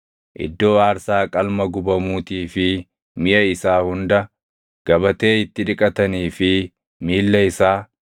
iddoo aarsaa qalma gubamuutii fi miʼa isaa hunda, gabatee itti dhiqatanii fi miilla isaa,